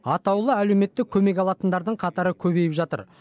атаулыт әлеуметтік көмек алатындардың қатары көбейіп жатыр